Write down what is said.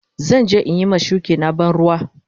Zan je in yi ma shuki na ban ruwa.